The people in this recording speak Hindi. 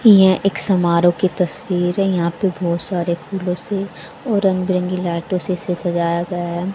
यह एक समारोह की तस्वीर है यहां पे बहुत सारे फूलों से और रंग बिरंगी लाइटों से इसे सजाया गया है।